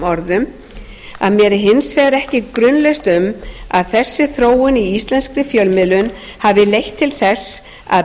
orðum mér er hins vegar ekki grunlaust um að þessi þróun í íslenskri fjölmiðlun hafi leitt til þess að